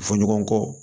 Fɔ ɲɔgɔn kɔ